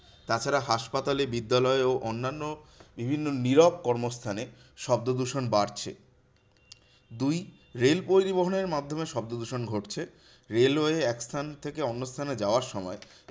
তাছাড়া হাসপাতালে, বিদ্যালয়ে ও অন্যান্য বিভিন্ন নীরব কর্মস্থানে শব্দদূষণ বাড়ছে। দুই, রেল পরিবহনের মাধ্যমে শব্দদূষণ ঘটছে। railway এক স্থান থেকে অন্য স্থানে যাওয়ার সময়